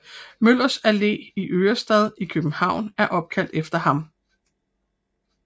Møllers Allé i Ørestad i København er opkaldt efter ham